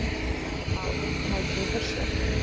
Báðir neituðu þeir sök.